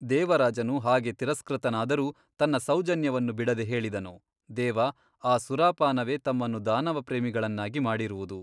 ದೇವರಾಜನು ಹಾಗೆ ತಿರಸ್ಕೃತನಾದರೂ ತನ್ನ ಸೌಜನ್ಯವನ್ನು ಬಿಡದೆ ಹೇಳಿದನು ದೇವ ಆ ಸುರಾಪಾನವೇ ತಮ್ಮನ್ನು ದಾನವಪ್ರೇಮಿಗಳನ್ನಾಗಿ ಮಾಡಿರುವುದು.